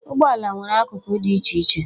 Ụgbọala nwere akụkụ dị iche iche